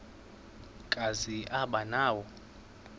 kazi aba nawo